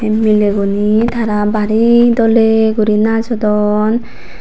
mileguney tara bari doley guri najodon.